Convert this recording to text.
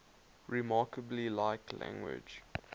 remarkably like language